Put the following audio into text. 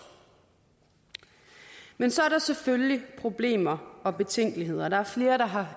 men så er der selvfølgelig problemer og betænkeligheder der er flere der har